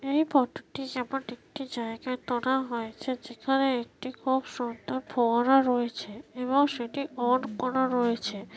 এই ফটো -টি এমন একটি জায়গায় তোলা হয়েছে যেখানে একটি খুব সুন্দর ফোয়ারা রয়েছে এবং সেটি অন করা রয়েছে।